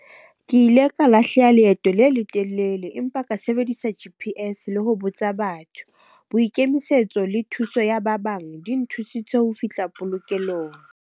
Ke ile ka lahleha leeto le letelele empa ka sebedisa G_P_S le ho botsa batho. Boikemisetso le thuso ya ba bang di nthusitse ho fihla polokelong.